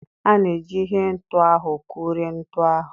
A na-eji ihe ntu ahụ kụrie ntu ahụ.